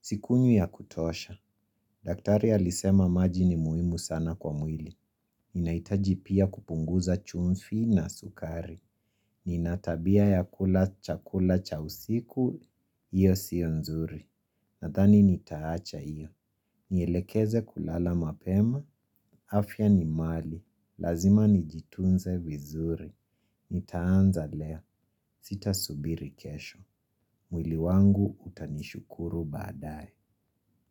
Sikunywi ya kutosha. Daktari alisema maji ni muhimu sana kwa mwili. Ninahitaji pia kupunguza chumvi na sukari. Nina tabia ya kula chakula cha usiku. Iyo siyo nzuri. Nadhani nitaacha iyo. Nielekeze kulala mapema, afya ni mali, lazima nijitunze vizuri. Nitaanza leo, sitasubiri kesho. Mwili wangu utanishukuru baadaye.